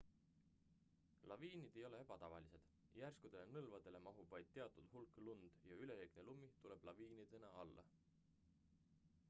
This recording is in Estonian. laviinid ei ole ebatavalised järskudele nõlvadele mahub vaid teatud hulk lund ja üleliigne lumi tuleb laviinidena alla